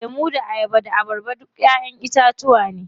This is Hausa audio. Lemu da ayaba da abarba duk ƴaƴen itacuwa ne.